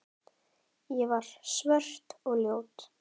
Ég var svört og ljót.